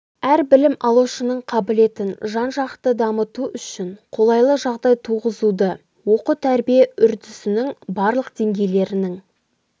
әр білім алушының қабілетін жан-жақты дамыту үшін қолайлы жағдай туғызуды оқу тәрбие үрдісінің барлық деңгейлерінің